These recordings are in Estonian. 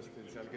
V a h e a e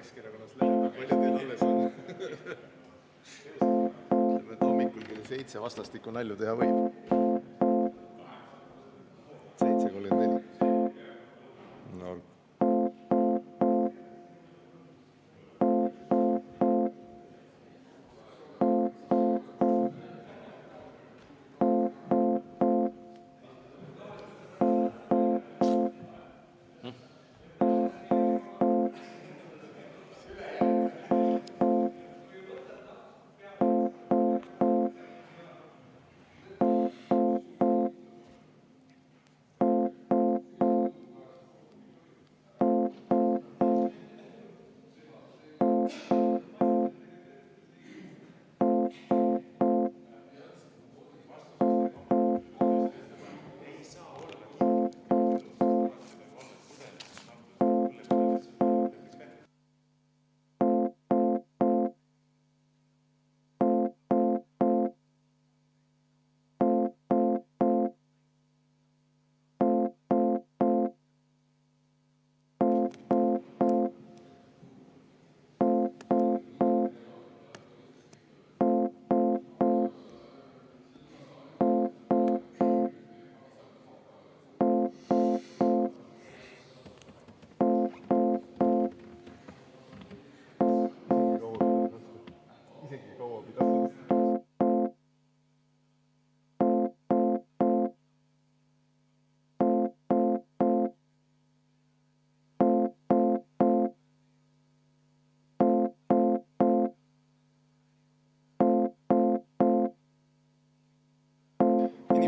g